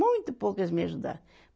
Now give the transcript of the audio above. Muito pouco eles me ajudaram.